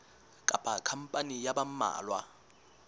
kapa khampani ya ba mmalwa